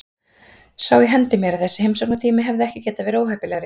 Sá í hendi mér að þessi heimsóknartími hefði ekki getað verið óheppilegri.